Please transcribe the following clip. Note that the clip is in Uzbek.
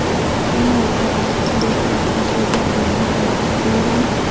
jamoat joyida turli uyatli so‘zlar bilan haqorat qilgan.